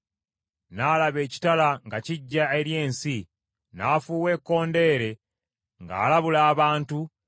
n’alaba ekitala nga kijja eri ensi, n’afuuwa ekkondeere ng’alabula abantu,